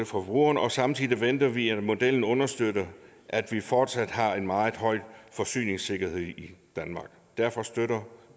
forbrugerne og samtidig venter vi at modellen understøtter at vi fortsat har en meget høj forsyningssikkerhed i danmark derfor støtter